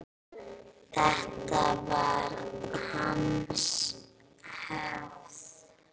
Þetta var hans hefð.